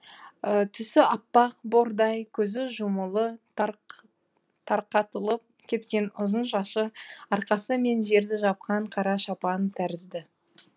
түсі аппақ бордай көзі жұмулы тарқатылып кеткен ұзын шашы арқасы мен жерді жапқан қара шапан тәрізді